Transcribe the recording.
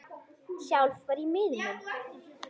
Sjálf var ég miður mín.